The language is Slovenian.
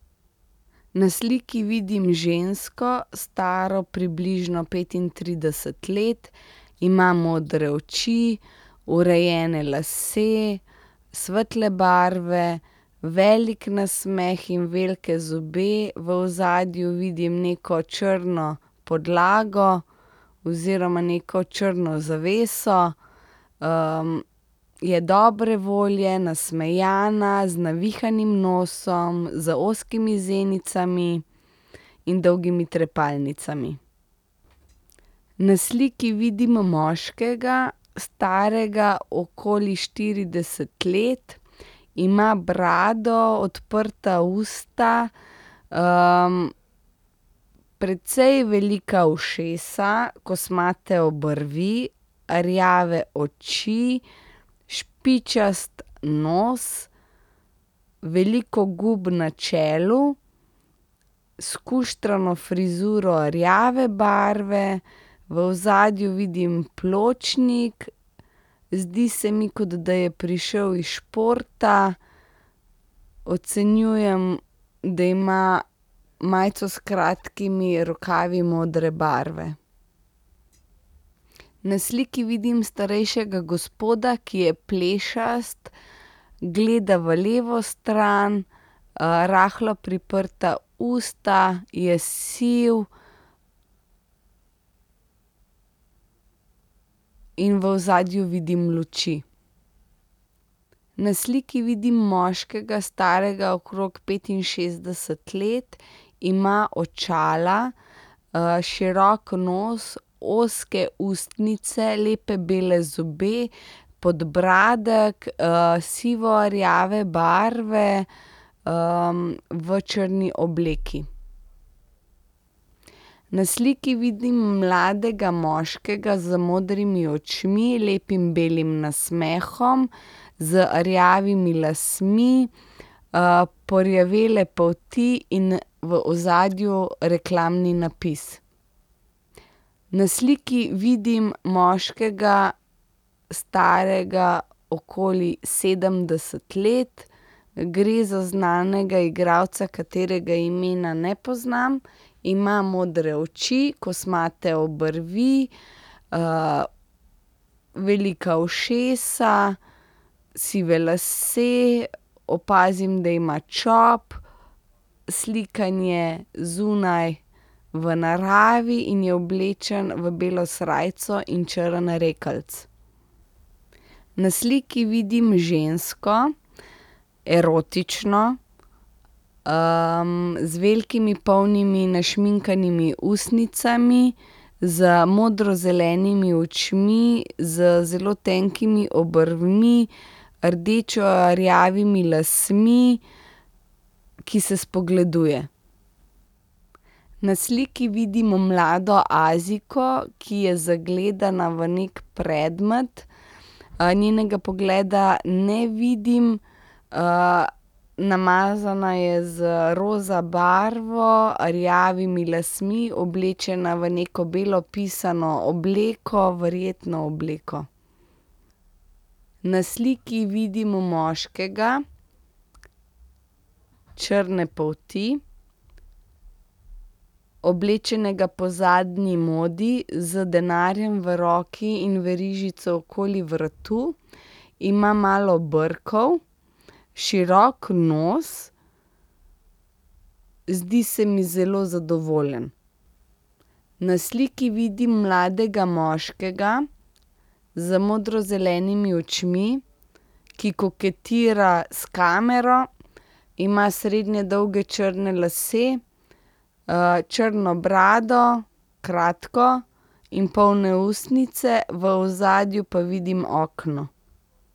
Na sliki vidim žensko, staro približno petintrideset let. Ima modre oči, urejene lase svetle barve, velik nasmeh in velike zobe, v ozadju vidim neko črno podlago oziroma neko črno zaveso. je dobre volje, nasmejana, z navihanim nosom, z ozkimi zenicami in dolgimi trepalnicami. Na sliki vidimo moškega, starega okoli štirideset let. Ima brado, odprta usta, precej velika ušesa, kosmate obrvi, rjave oči, špičast nos, veliko gub na čelu, skuštrano frizuro rjave barve. V ozadju vidim pločnik, zdi se mi, kot da je prišel s športa. Ocenjujem, da ima majico s kratkimi rokavi modre barve. Na sliki vidim starejšega gospoda, ki je plešast. Gleda v levo stran, rahlo priprta usta, je siv. In v ozadju vidim luči. Na sliki vidim moškega, starega okrog petinšestdeset let. Ima očala, širok nos, ozke ustnice, lepe bele zobe, podbradek, sivorjave barve, v črni obleki. Na sliki vidim mladega moškega z modrimi očmi, lepim belim nasmehom, z rjavimi lasmi, porjavele polti in v ozadju reklamni napis. Na sliki vidim moškega, starega okoli sedemdeset let. Gre za znanega igralca, katerega imena ne poznam. Ima modre oči, kosmate obrvi, velika ušesa, sive lase, opazim, da ima čop. Slikan je zunaj v naravi in je oblečen v belo srajco in črn rekelc. Na sliki vidim žensko, erotično, z velikimi, polnimi, našminkanimi ustnicami, z modrozelenimi očmi, z zelo tenkimi obrvmi, rdečerjavimi lasmi, ki se spogleduje. Na sliki vidimo mlado Azijko, ki je zagledana v neki predmet. njenega pogleda ne vidim, namazana je z roza barvo, rjavimi lasmi, oblečena v neko belo pisano obleko, verjetno obleko. Na sliki vidimo moškega črne polti. Oblečenega po zadnji modi z denarjem v roki in verižico okoli vratu. Ima malo brkov, širok nos, zdi se mi zelo zadovoljen. Na sliki vidim mladega moškega z modrozelenimi očmi, ki koketira s kamero. Ima srednje dolge črne lase, črno brado, kratko in polne ustnice. V ozadju pa vidim okno.